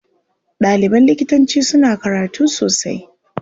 Ɗaliban likitanci suna karatu sosai.